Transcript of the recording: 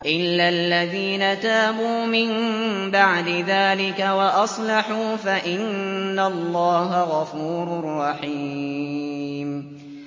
إِلَّا الَّذِينَ تَابُوا مِن بَعْدِ ذَٰلِكَ وَأَصْلَحُوا فَإِنَّ اللَّهَ غَفُورٌ رَّحِيمٌ